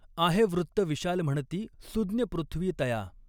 आहे वृत्त विशाल म्हणती सू़ज्ञ पृथ्वी तया।